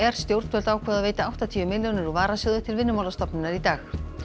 stjórnvöld ákváðu að veita áttatíu millljónir úr varasjóði til Vinnumálastofnunar í dag